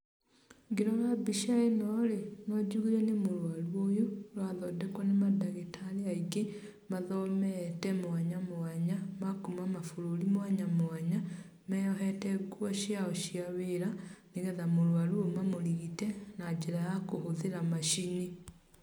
Ngĩrora mbica ĩnorĩ, no njugire nĩ mũrwaru ũyũ, arathondekwo, nĩ madagĩtarĩ aingĩ, mathomete mwanya mwanya, makuma mabũrũri mwanya mwanya, meyohete nguo ciao cĩa wĩra, nĩgetha mũrwaru ũyũ mamũrigite, na njĩra ya kũhũthĩra macini.